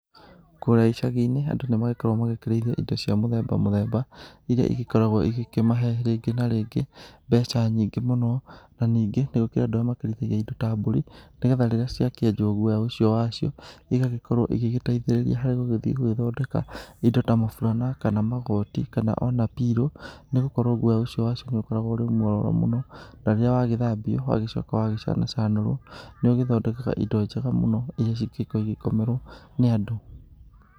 Kũrĩa icagi-inĩ, andũ nĩ magĩkoragwo magĩkĩrĩithia indo cia mũthemba mũthemba, iria igĩkoragwo igĩkĩmahe rĩngĩ na rĩngĩ mbeca nyingĩ mũno, na ningĩ nĩ gũkĩrĩ andũ arĩa makĩrĩithagia indo ta mbũri nĩgetha rĩrĩa ciakĩenjwo guoya ũcio wacio, igagĩkorwo igĩgĩteithĩrĩria harĩ gũgĩthiĩ gũgĩthondeka indo ta maburana, kana magoti, kana o na pillow nĩ gũkorwo guoya ũcio wacio nĩ ũkoragwo ũrĩ mwega mũno, na rĩrĩa wagĩthambio, wagĩcoka wagĩcanacanũrwo, nĩ ũgĩthondekaga indo njega mũno iria cingĩgĩkorwo igĩkomerwo nĩ andũ.